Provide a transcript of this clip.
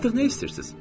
Artıq nə istəyirsiz?